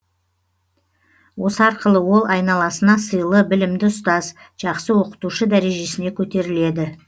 осы арқылы ол айналасына сыйлы білімді ұстаз жақсы оқытушы дәрежесіне көтеріледі